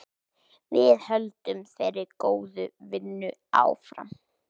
Við höldum þeirri góðu vinnu áfram.